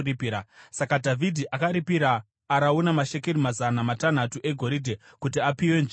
Saka Dhavhidhi akaripira Arauna mashekeri mazana matanhatu egoridhe kuti apiwe nzvimbo iyi.